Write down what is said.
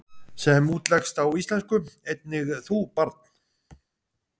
sem útleggst á íslensku einnig þú, barn?